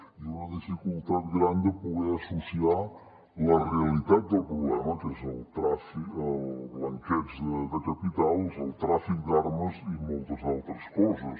i una dificultat gran de poder associar la realitat del problema que és el blanqueig de capitals el tràfic d’armes i moltes d’altres coses